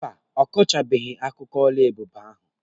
Mba, ọ kọchabeghị akụkọ oluebube ahụ.